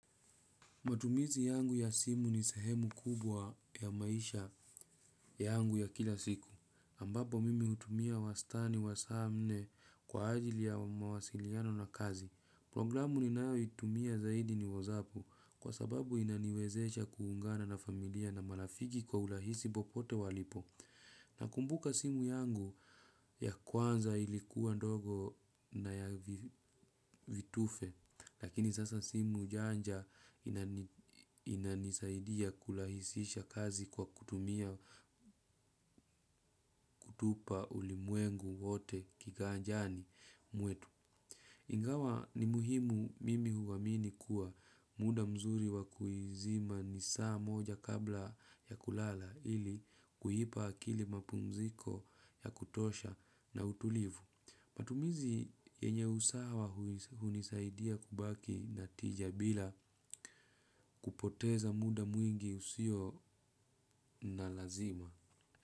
Matumizi yangu ya simu ni sehemu kubwa ya maisha yangu ya kila siku. Ambapo mimi hutumia wastani wa saa nne kwa ajili ya mawasiliano na kazi. Programu ninayotumia zaidi ni whatsapp kwa sababu inaniwezesha kuungana na familia na marafiki kwa urahisi popote walipo. Na kumbuka simu yangu ya kwanza ilikuwa ndogo na ya vitufe, lakini sasa simu janja inanisaidia kurahisisha kazi kwa kutumia kutupa ulimwengu wote kiganjani mwetu. Ingawa ni muhimu mimi huamini kuwa muda mzuri wakuizima ni saa moja kabla ya kulala ili kuipa akili mapumziko ya kutosha na utulivu. Matumizi yenye usawa hunisaidia kubaki na tija bila kupoteza muda mwingi usio na lazima.